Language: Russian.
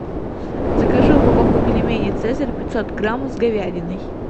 закажи упаковку пельменей цезарь пятьсот граммов с говядиной